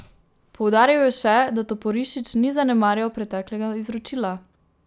Poudaril je še, da Toporišič ni zanemarjal preteklega izročila.